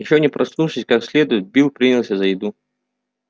ещё не проснувшись как следует билл принялся за еду